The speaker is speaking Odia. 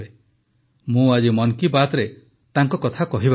ମୁଁ ଆଜି ମନ୍ କୀ ବାତ୍ରେ ତାଙ୍କ କଥା କହିବାକୁ ଚାହୁଁଛି